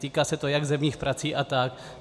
Týká se to jak zemních prací a tak.